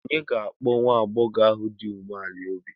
Ònye ga-akpọ nwa agbọghọ ahụ dị umeala n'obi?